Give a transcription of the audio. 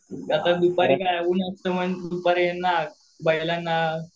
आता दुपारी ऊन असतं दुपारी बैलांना